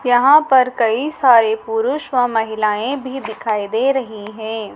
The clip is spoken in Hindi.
यहां पर कई सारे पुरुष व महिलाएं भी दिखाई दे रही है।